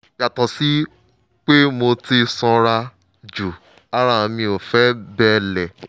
yàtọ̀ sí pé mo ti sanra jù ara mi ò fi bẹ́ẹ̀ le